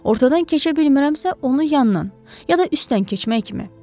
Ortadan keçə bilmirəmsə, onu yanından, ya da üstdən keçmək kimi.